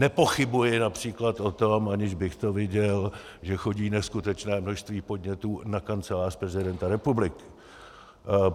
Nepochybuji například o tom, aniž bych to viděl, že chodí neskutečné množství podnětů na Kancelář prezidenta republiky.